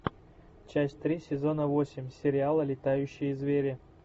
часть три сезона восемь сериала летающие звери